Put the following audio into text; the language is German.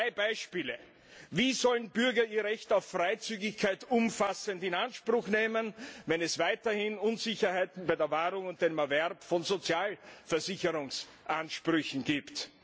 Drei Beispiele Wie sollen Bürger ihr Recht auf Freizügigkeit umfassend in Anspruch nehmen, wenn es weiterhin Unsicherheiten bei der Wahrung und dem Erwerb von Sozialversicherungsansprüchen gibt?